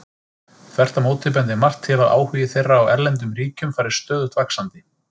Þvert á móti bendir margt til að áhugi þeirra á erlendum ríkjum fari stöðugt vaxandi.